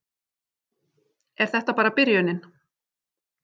Er þetta bara byrjunin